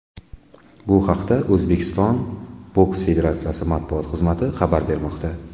Bu haqda O‘zbekiston boks federatsiyasi matbuot xizmati xabar bermoqda .